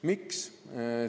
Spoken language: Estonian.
Miks?